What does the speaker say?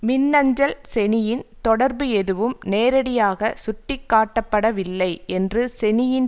மின்னஞ்சல் செனியின் தொடர்பு எதுவும் நேரடியாக சுட்டிகாட்டப்படவில்லை என்று செனியின்